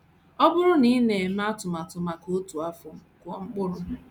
“ Ọ bụrụ na ị na - eme atụmatụ maka otu afọ, kụọ mkpụrụ.